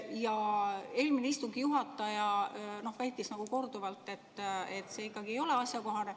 Eelmine istungi juhataja väitis korduvalt, et see ei ole ikkagi asjakohane.